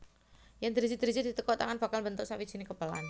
Yèn driji driji ditekuk tangan bakal mbentuk sawijining kepelan